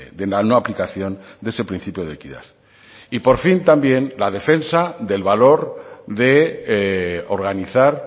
de la no aplicación de ese principio de equidad y por fin también la defensa del valor de organizar